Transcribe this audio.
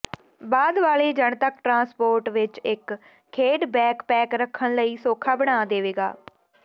ਬਾਅਦ ਵਾਲੇ ਜਨਤਕ ਟ੍ਰਾਂਸਪੋਰਟ ਵਿਚ ਇਕ ਖੇਡ ਬੈਕਪੈਕ ਰੱਖਣ ਲਈ ਸੌਖਾ ਬਣਾ ਦੇਵੇਗਾ